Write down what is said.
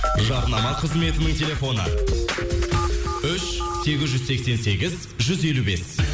жарнама қызметінің телефоны үш сегіз жүз сексен сегіз жүз елу бес